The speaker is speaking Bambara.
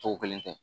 Tɔw kelen tɛ